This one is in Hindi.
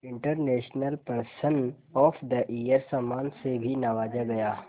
international person of the year सम्मान से भी नवाजा गया